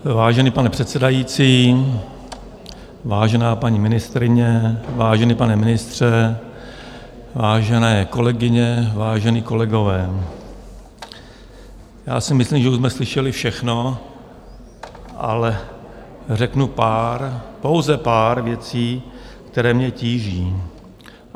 Vážený pane předsedající, vážená paní ministryně, vážený pane ministře, vážené kolegyně, vážení kolegové, já si myslím, že už jsme slyšeli všechno, ale řeknu pár, pouze pár věcí, které mě tíží.